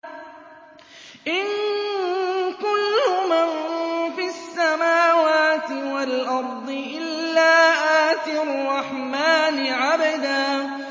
إِن كُلُّ مَن فِي السَّمَاوَاتِ وَالْأَرْضِ إِلَّا آتِي الرَّحْمَٰنِ عَبْدًا